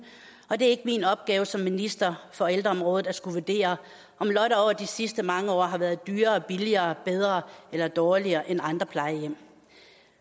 og det er ikke min opgave som minister for ældreområdet at skulle vurdere om lotte over de sidste mange år har været dyrere billigere bedre eller dårligere end andre plejehjem